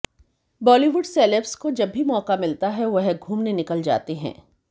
Bollywood celebs को जब भी मौका मिलता है वह घूमने निकल जाते हैं